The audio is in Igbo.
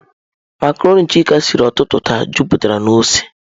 Macarọnị Chika siri ụtụtụ taa, jupụtara na ose.